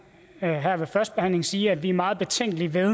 her ved førstebehandlingen sige at vi er meget betænkelige ved